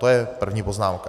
To je první poznámka.